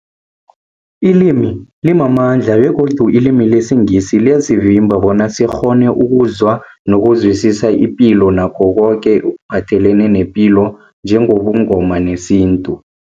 Ilimi limamandla begodu ilimi lesiNgisi liyasivimba bona sikghone ukuzwa nokuzwisisa ipilo nakho koke ekuphathelene nepilo njengobuNgoma nesintu.